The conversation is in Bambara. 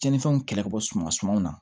Cɛnnifɛnw kɛlɛ ka bɔ suman sumanw na